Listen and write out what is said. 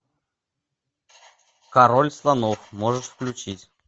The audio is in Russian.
король слонов можешь включить